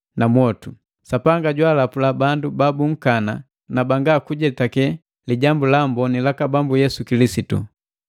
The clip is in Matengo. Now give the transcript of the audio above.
na mwotu. Sapanga jwaalapula bandu babunkana na banga kujetake Lijambu la Amboni laka Bambu Yesu Kilisitu.